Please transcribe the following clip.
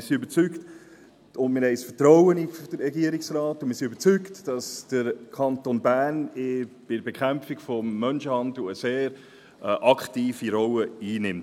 Wir haben Vertrauen in den Regierungsrat und sind überzeugt, dass der Kanton Bern bei der Bekämpfung des Menschenhandels eine sehr aktive Rolle einnimmt.